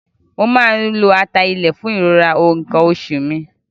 Mo máa ń lo ata ilẹ̀ fún ìrora nǹkan oṣù mi.